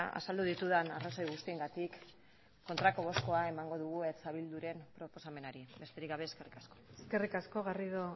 azaldu ditudan arrazoi guztiengatik kontrako bozka emango dugu eh bilduren proposamenari besterik gabe eskerrik asko eskerrik asko garrido